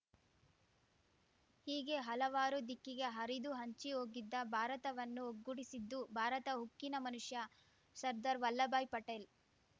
ಹೀಗೆ ಹಲವಾರು ದಿಕ್ಕಿಗೆ ಹರಿದು ಹಂಚಿ ಹೋಗಿದ್ದ ಭಾರತವನ್ನು ಒಗ್ಗೂಡಿಸಿದ್ದು ಭಾರತ ಉಕ್ಕಿನ ಮನುಷ್ಯ ಸರ್ದಾರ್‌ ವಲ್ಲಭಾಯಿ ಪಟೇಲ್‌